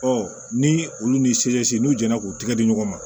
ni olu ni n'u jɛnna k'u tɛgɛ di ɲɔgɔn ma